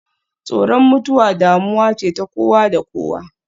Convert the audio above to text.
Tsoron mutuwa damuwa ce ta kowa da kowa.